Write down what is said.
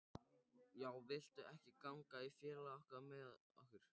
Já, viltu ekki ganga í félagið með okkur?